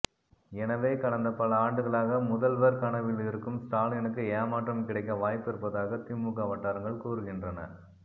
எனவே கடந்த பல ஆண்டுகளாக முதல்வர் கனவில் இருக்கும் ஸ்டாலினுக்கு ஏமாற்றம் கிடைக்க வாய்ப்பு இருப்பதாக திமுக வட்டாரங்கள் கூறுகின்றன